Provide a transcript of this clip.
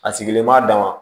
A sigilen b'a dama